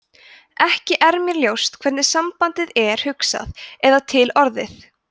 ekki er mér ljóst hvernig sambandið er hugsað eða til orðið